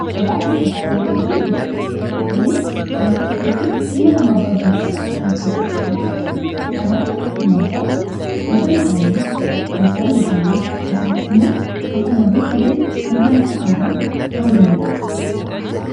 gabaa qeentaa wowwaniifi butika kunnien wantoota hedduu ilma nama barbaachisan kamafkeessatti qabatuudha kan akka nyaataa gosa midhaanii gosaa mishaalii kasumas immoo kafanaa fi kopee kan kana fakkaatan ta'uu danda'a